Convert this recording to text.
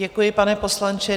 Děkuji, pane poslanče.